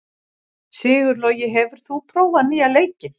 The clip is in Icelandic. Sigurlogi, hefur þú prófað nýja leikinn?